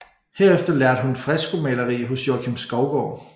Herefter lærte hun freskomaleri hos Joakim Skovgaard